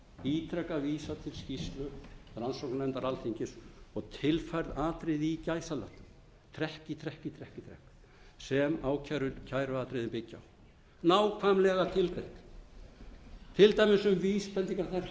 ítrekað vísað til skýrslu rannsóknarnefndar alþingis og tilfærð atriði í gæsalöppum trekk í trekk í trekk í trekk sem kæruatriðin byggja á nákvæmlega tilgreind til dæmis um vísbendingar um þær hættur sem vofðu